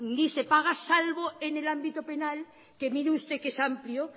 ni se paga salvo en el ámbito penal que mire usted que es amplio